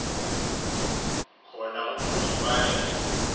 khona umntu ibaleke